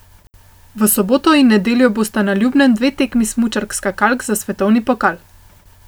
V soboto in nedeljo bosta na Ljubnem dve tekmi smučark skakalk za svetovni pokal.